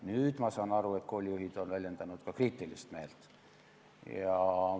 Nüüd, ma saan aru, on koolijuhid väljendanud ka kriitilist meelt.